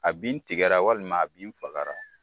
A bin tigɛra walima a bin fagara